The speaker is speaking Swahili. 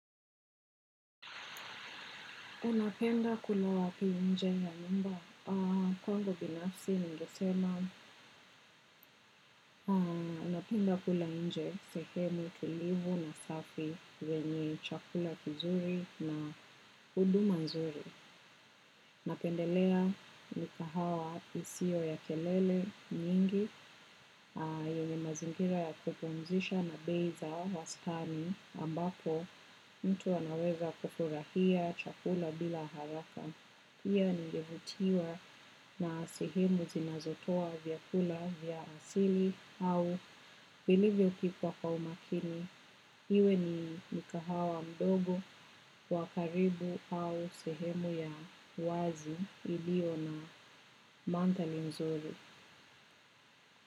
Unapenda kula wapi nje na nyumba? Kwangu binafsi ningesema napenda kula nje sehemu tulivu na safi yenye chakula kizuri na huduma nzuri. Napendelea migahawa isio ya kelele nyingi yenyee mazingira ya kupumzisha na bei za wastani ambapo mtu anaweza kufurahia chakula bila haraka. Pia ningevutiwa na sehemu zinazotoa vyakula vya asili au vilivyo kipwa kwa umakini. Iwe ni mikahawa mdogo, wakaribu au sehemu ya wazi ilio na mandhari nzuri.